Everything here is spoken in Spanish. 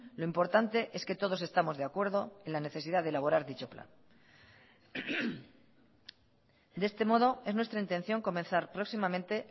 lo importante es que todos estamos de acuerdo en la necesidad de elaborar dicho plan de este modo es nuestra intención comenzar próximamente